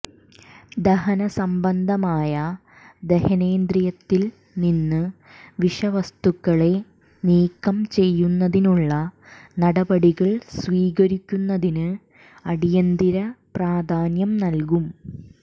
ദഹനസംബന്ധമായ ദഹനേന്ദ്രിയത്തിൽ നിന്ന് വിഷവസ്തുക്കളെ നീക്കം ചെയ്യുന്നതിനുള്ള നടപടികൾ സ്വീകരിക്കുന്നതിന് അടിയന്തിര പ്രാധാന്യം നൽകും